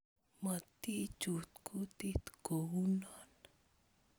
Motichut kutit kounon